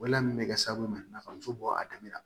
Wele mun be kɛ sababu ma ka muso bɔ a daminɛ la